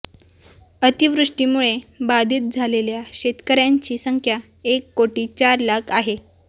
अतिवृष्टीमुळे बाधित झालेल्या शेतकऱ्यांची संख्या एक कोटी चार लाख आहे